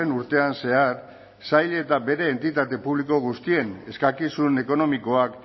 urtean zehar sail eta bere entitate publiko guztien eskakizun ekonomikoak